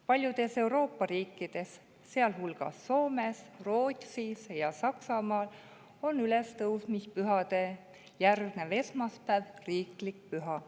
Paljudes Euroopa riikides, sealhulgas Soomes, Rootsis ja Saksamaal, on ülestõusmispühadele järgnev esmaspäev riiklik püha.